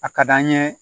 A ka d'an ye